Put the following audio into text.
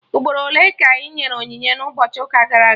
Ugboro ole ka enyere onyinye n'ụbọchị ụka gara aga?